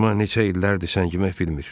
Atışma neçə illərdir səngimək bilmir.